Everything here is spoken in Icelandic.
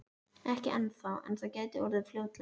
Ekki ennþá en það gæti orðið fljótlega.